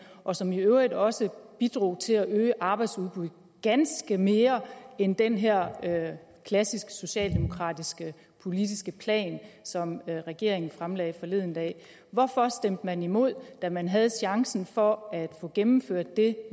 og som i øvrigt også bidrog til at øge arbejdsudbuddet ganske mere end den her klassiske socialdemokratiske politiske plan som regeringen fremlagde forleden dag hvorfor stemte man imod da man havde chancen for at få gennemført det